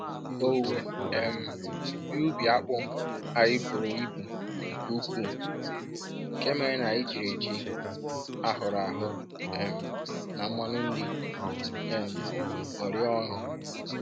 Owuwe um ihe ubi akpu anyị buru ibu nke uku, nke mere na anyị jiri ji ahụrụ ahụ um na mmanụ nri um ṅụrịa ọṅụ.